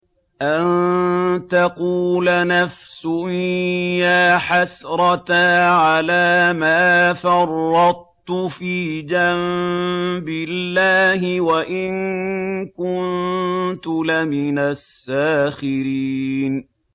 أَن تَقُولَ نَفْسٌ يَا حَسْرَتَا عَلَىٰ مَا فَرَّطتُ فِي جَنبِ اللَّهِ وَإِن كُنتُ لَمِنَ السَّاخِرِينَ